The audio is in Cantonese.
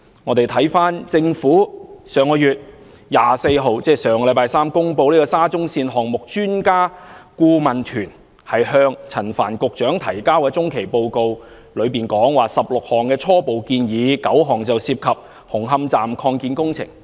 回看政府上月24日公布沙中線項目專家顧問團向陳帆局長提交的中期報告，當中提出了16項初步建議 ，9 項涉及紅磡站擴建工程。